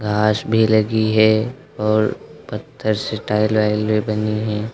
घास भी लगी है और पत्थर से टाइल वाइल भी बनी है।